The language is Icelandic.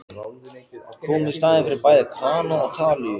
Kom í staðinn fyrir bæði krana og talíu.